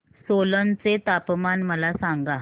सोलन चे तापमान मला सांगा